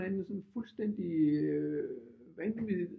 Et eller andet sådan fuldstændig vanvittigt